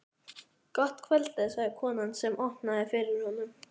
Gott kvöld sagði konan sem opnaði fyrir honum.